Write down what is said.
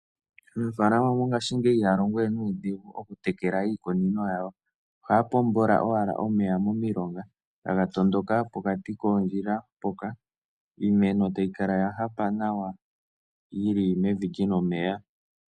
Aanafalama mongaashingeyi mokutekela iikunino yawo ohaya pombola owala omeya momilonga taga tondoka pokati koondjila mpoka iimeno tayi kala ya hapa nawa yili mevi lyina omeya.